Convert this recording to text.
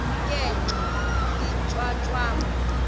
ke ngoko iintyatyambo